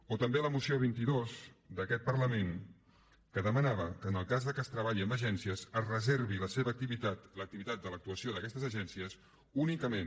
o també la moció vint dos d’aquest parlament que demanava que en el cas que es treballi amb agències es reservi la seva activitat l’activitat de l’actuació d’aquestes agències únicament